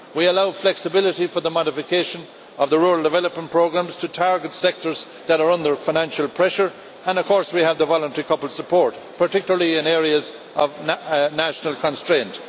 We allow flexibility for the modification of the rural development programmes to target sectors that are under financial pressure, and of course we have the voluntary coupled support, particularly in areas of national constraint.